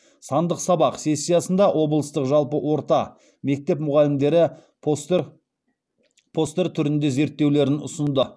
сандық сабақ сессиясында облыстық жалпы орта мектеп мұғалімдері постер түрінде зерттеулерін ұсынды